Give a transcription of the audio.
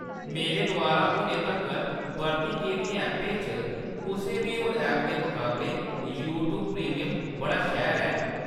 मेरे द्वारा हुनै तक्कर बरती गेदियें ऐपें चा कुसै बी होर ऐप दे मकाबले यूट्‌यूब प्रीमियम बड़ा शैल ऐ।